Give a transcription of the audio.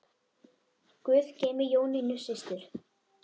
Guð geymi Jónínu systur.